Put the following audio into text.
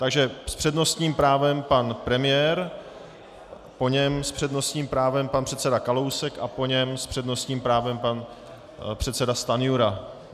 Takže s přednostním právem pan premiér, po něm s přednostním právem pan předseda Kalousek a po něm s přednostním právem pan předseda Stanjura.